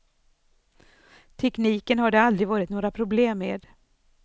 Tekniken har det aldrig varit några problen med.